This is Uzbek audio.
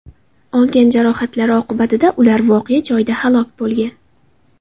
Olgan jarohatlari oqibatida ular voqea joyida halok bo‘lgan.